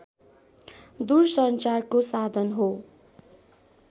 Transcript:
दूरसञ्चारको साधन हो